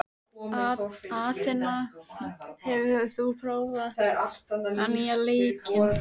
Atena, hefur þú prófað nýja leikinn?